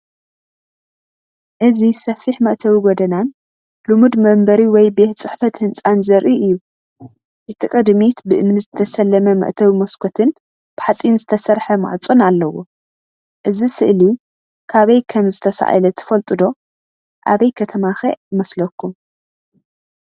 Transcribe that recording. እዚ ሰፊሕ መእተዊ ጎደናን ልሙድ መንበሪ ወይ ቤት ጽሕፈት ህንጻን ዘርኢ እዩ። እቲ ቅድሚት ብእምኒ ዝተሰለመ መእተዊ መስኮትን ብሓጺን ዝተሰርሐ ማዕጾን ኣለዎ። እዛ ስእሊ ካበይ ከም ዝተሳእለ ትፈልጡ ዶ? ኣበይ ከተማ ከ ይመስለኩም?